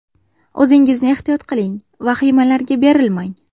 O‘zingizni ehtiyot qiling, vahimalarga berilmang.